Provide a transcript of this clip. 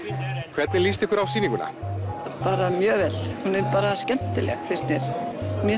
hvernig líst ykkur á sýninguna bara mjög vel hún er bara skemmtileg finnst mér mér